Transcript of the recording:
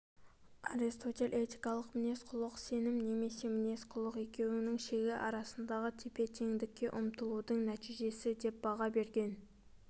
аристотель этикалық мінез-құлық сенім немесе мінез-құлық екеуінің шегі арасындағы тепе-теңдікке ұмтылудың нәтижесі деп баға берген